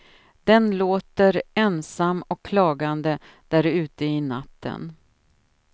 Den låter ensam och klagande där ute i natten.